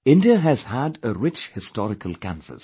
India has had a rich historical canvas